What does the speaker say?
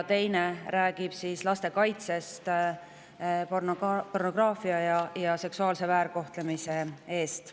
Teine räägib laste kaitsest pornograafia ja seksuaalse väärkohtlemise eest.